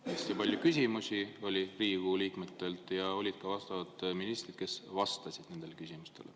Hästi palju küsimusi oli Riigikogu liikmetelt ja olid ka ministrid, kes vastasid nendele küsimustele.